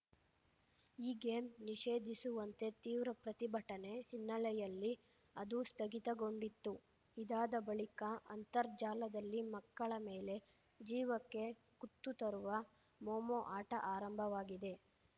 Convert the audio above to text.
ಈ ಗೇಮ್‌ ನಿಷೇಧಿಸುವಂತೆ ತೀವ್ರ ಪ್ರತಿಭಟನೆ ಹಿನ್ನೆಲೆಯಲ್ಲಿ ಅದೂ ಸ್ಥಗಿತಗೊಂಡಿತ್ತು ಇದಾದ ಬಳಿಕ ಅಂತರ್ಜಾಲದಲ್ಲಿ ಮಕ್ಕಳ ಮೇಲೆ ಜೀವಕ್ಕೆ ಕುತ್ತು ತರುವ ಮೊಮೊ ಆಟ ಆರಂಭವಾಗಿದೆ